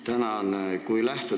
Tänan!